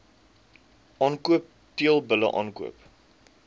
aankoop teelbulle aankoop